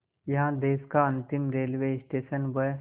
यहाँ देश का अंतिम रेलवे स्टेशन व